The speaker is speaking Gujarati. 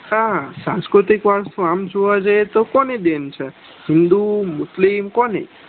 હા હા સાંસ્કૃતિક વારસો આમ જોવા જઈએ તો કોની દેન છે હિંદુ મુસ્લિમ કોની